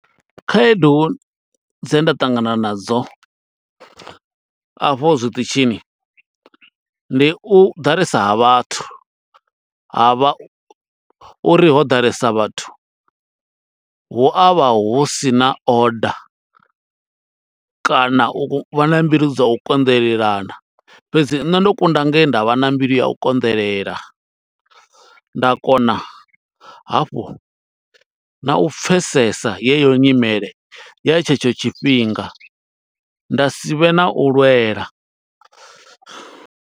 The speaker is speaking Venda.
Khaedu dze nda ṱangana nadzo a fho zwiṱitshini, ndi u ḓalesa ha vhathu. Ha vha uri ho ḓalesa vhathu, hu a vha hu sina order, kana u vha na mbilu dza u konḓelelana. Fhedzi nṋe ndo kunda nge nda vha na mbilu ya u konḓelela, nda kona hafhu na u pfesesa yeyo nyimele, ya tshetsho tshifhinga, nda si vhe na u lwela.